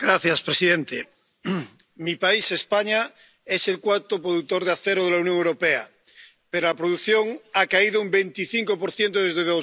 Señor presidente, mi país, España, es el cuarto productor de acero de la Unión Europea, pero la producción ha caído un 25 desde